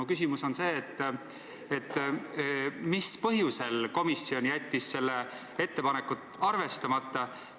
Mu küsimus on selline: mis põhjusel jättis komisjon selle ettepaneku arvestamata?